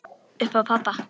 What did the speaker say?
Upp á pabba.